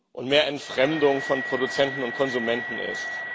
und mehr Entfremdung von Produzenten und Konsumenten ist.